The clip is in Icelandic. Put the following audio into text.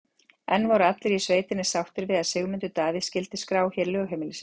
En voru allir í sveitinni sáttir við að Sigmundur Davíð skyldi skrá hér lögheimili sitt?